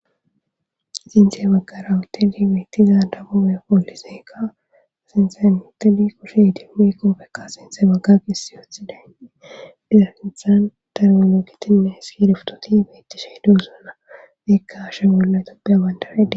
Sinte baggara woteli beyttiza dabume pooliseeka asinxen muteli kushe dimmi qofekka sinte bagga qissi uthidayni dizarinthan termoloogitinne hiski riftoti beetti shee duusana beekka ashe bolla topbeabandaredi.